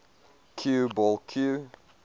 cue ball cue